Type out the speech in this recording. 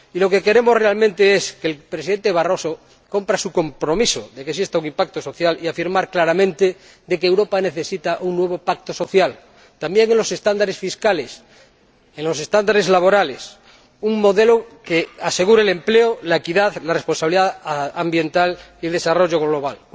Y ¿lo que queremos realmente es que el Presidente Barroso cumpla su compromiso de que exista un impacto social y afirmar claramente que Europa necesita un nuevo pacto social, también en los estándares fiscales, en los estándares laborales, un modelo que asegure el empleo, la equidad, la responsabilidad ambiental y el desarrollo global?